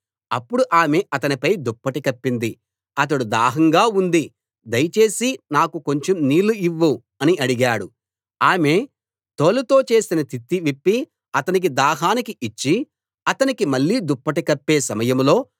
అప్పుడు ఆమె అతనిపై దుప్పటి కప్పింది అతడు దాహంగా ఉంది దయచేసి నాకు కొంచెం నీళ్ళు ఇవ్వు అని అడిగాడు ఆమె తోలుతో చేసిన తిత్తి విప్పి అతనికి దాహానికి ఇచ్చి అతనికి మళ్ళీ దుప్పటి కప్పే సమయంలో